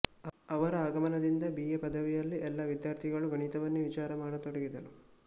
ಅವರ ಆಗಮನದಿಂದ B A ಪದವಿಯಲ್ಲಿ ಎಲ್ಲ ವಿದ್ಯಾರ್ಥಿಗಳು ಗಣಿತವನ್ನೇ ವಿಚಾರಮಾಡತೊಡಗಿದರು